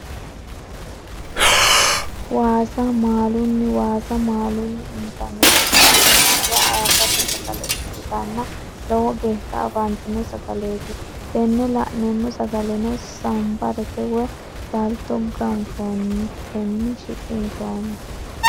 Waasa maalunni, waasa malunni intaniti sidamu budira ayyirado sagale ikkitanna lowo geesha afantino sagaleeti tena la'neemo sagalenno sambarete woyi salito ganfonitenni shiqinshooni